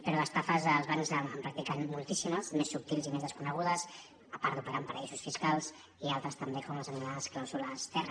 però d’estafes els bancs en practiquen moltíssimes més subtils i més desconegudes a part d’operar en paradisos fiscals i altres també com les anomenades clàusules terra